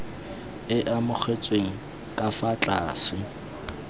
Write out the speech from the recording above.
e amogetsweng ka fa tlase